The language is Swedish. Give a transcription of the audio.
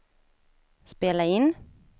spela in